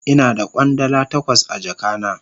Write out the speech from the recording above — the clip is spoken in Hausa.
Ina da Kwandala takwas a jaka na.